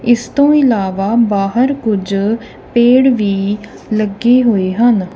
ਇਸ ਤੋਂ ਇਲਾਵਾ ਬਾਹਰ ਕੁਝ ਪੇੜ ਵੀ ਲੱਗੇ ਹੋਏ ਹਨ।